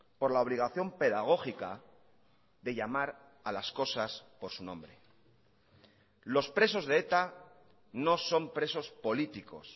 por la obligación pedagógica de llamar a las cosas por su nombre los presos de eta no son presos políticos